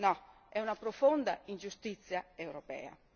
No, è una profonda ingiustizia europea.